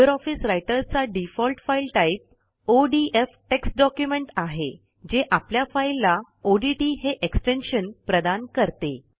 Libre office रायटरचा default file type ODF text document आहे जे आपल्या फाईलला ओडीटी हे एक्सटेन्शन प्रदान करते